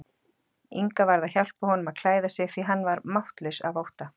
Inga varð að hjálpa honum að klæða sig því hann var máttlaus af ótta.